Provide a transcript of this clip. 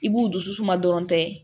I b'u dusu suma dɔrɔn dɛ